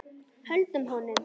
Höldum honum!